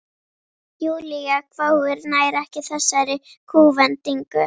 Júlía hváir, nær ekki þessari kúvendingu.